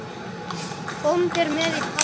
Bóndi er með í tafli.